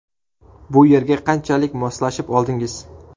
Bu yerga qanchalik moslashib oldingiz?